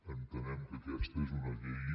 entenem que aquesta és una llei